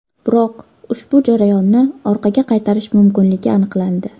Biroq ushbu jarayonni orqaga qaytarish mumkinligi aniqlandi.